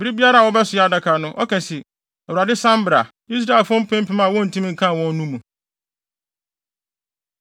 Bere biara a wɔbɛsoɛ adaka no, ɔka se, “ Awurade, san bra Israelfo mpempem a wontumi nkan wɔn no mu.”